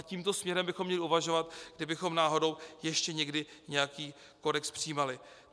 A tímto směrem bychom měli uvažovat, kdybychom náhodou ještě někdy nějaký kodex přijímali.